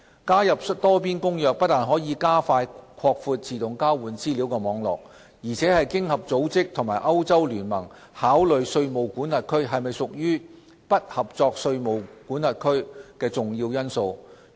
加入《多邊公約》不但可加快擴闊自動交換資料網絡，而且是經合組織和歐洲聯盟考慮稅務管轄區是否屬"不合作稅務管轄區"的重要因素。